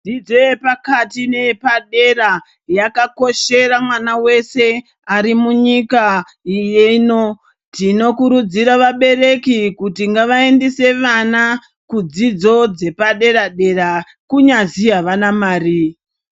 Dzidzo yepakati neyepadera yakakoshera mwana wese arimunyika ino, tinokurudzira vabereki kuti ngavaendese vana kudzidzo dzepadera dera kunyazi avana mari.